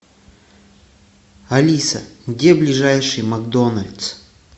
алиса где ближайший макдональдс